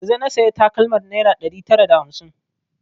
Yanzun na saya takalmar naira ɗari tara da hamsin